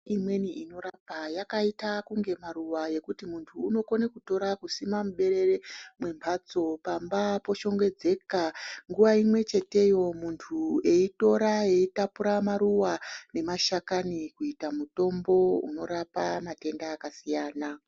Mithombo imweni inorapa yakaite unge maruwa ekuti munthu unokona kutora kusima muberere mwemhatso pamba poshongedzeka, nguwa imwecheteyo munthu eitora eitapura maruwa nemashakani kugadzira muthombo unorapa mathenda kakasiyana.